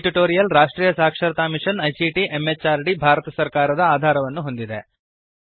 ಈ ಟ್ಯುಟೋರಿಯಲ್ ರಾಷ್ಟ್ರೀಯ ಸಾಕ್ಷರತಾ ಮಿಶನ್ ಐಸಿಟಿ ಎಂಎಚಆರ್ಡಿ ಭಾರತ ಸರ್ಕಾರದ ಆಧಾರವನ್ನು ಹೊಂದಿದೆ